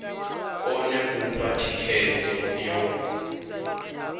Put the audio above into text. kone u fha thikhedzo yo